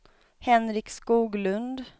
Henrik Skoglund